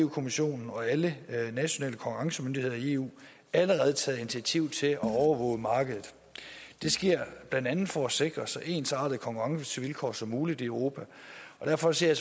kommissionen og alle nationale konkurrencemyndigheder i eu allerede taget initiativ til at overvåge markedet det sker blandt andet for at sikre så ensartede konkurrencevilkår som muligt i europa og derfor ser